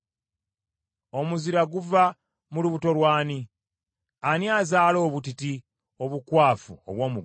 Omuzira guva mu lubuto lw’ani? Ani azaala obutiti obukwafu obw’omu ggulu,